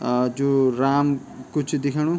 आ जु राम कु च दिखेंणु।